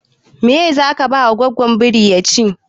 Meye zaka ba goggon biri ya ci?